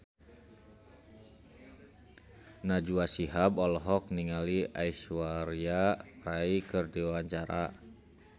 Najwa Shihab olohok ningali Aishwarya Rai keur diwawancara